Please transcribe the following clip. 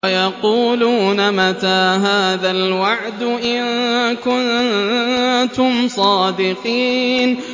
وَيَقُولُونَ مَتَىٰ هَٰذَا الْوَعْدُ إِن كُنتُمْ صَادِقِينَ